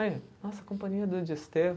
Aí, nossa, Companhia do Desterro.